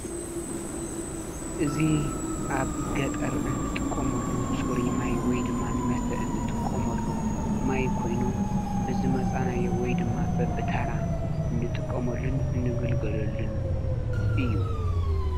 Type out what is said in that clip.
እዙ ኣብ ገጠር እንጥቆመሉ ፁሪማይ ወይ ድማ ንመስተ እንጥቆሞሉ ማይ ኮይኑን ብዝ መፃናዮ ወይ ድማ በብታራ እንጥቆሞልን እንግልገለሉን እዩ